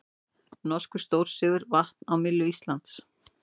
Norskur stórsigur vatn á myllu Íslands